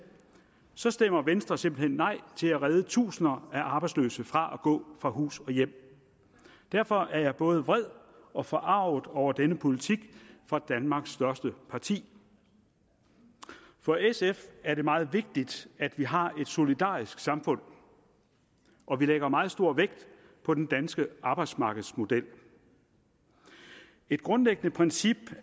stemmer venstre simpelt hen nej til at redde tusinder af arbejdsløse fra at gå fra hus og hjem derfor er jeg både vred og forarget over denne politik fra danmarks største parti for sf er det meget vigtigt at vi har et solidarisk samfund og vi lægger meget stor vægt på den danske arbejdsmarkedsmodel et grundlæggende princip